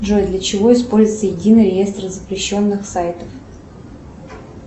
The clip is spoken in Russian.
джой для чего используется единый реестр запрещенных сайтов